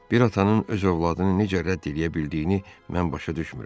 Bir atanın öz övladını necə rədd eləyə bildiyini mən başa düşmürəm.